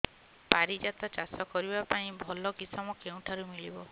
ପାରିଜାତ ଚାଷ କରିବା ପାଇଁ ଭଲ କିଶମ କେଉଁଠାରୁ ମିଳିବ